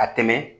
A tɛmɛ